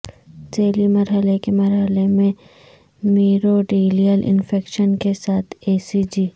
ذیلی مرحلے کے مرحلے میں میریوڈیلیل انفیکشن کے ساتھ ای سی جی